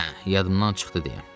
Hə, yadımdan çıxdı deyə.